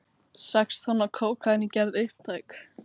Sex tonn af kókaíni gerð upptæk